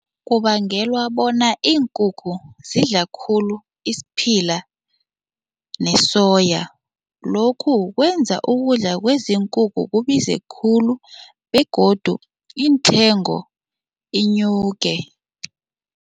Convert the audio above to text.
Kubangelwa bona iinkukhu zidla khulu isiphila nesoya, lokhu kwenza ukudla kwezinkukhu kubize khulu begodu iinthengo inyuke.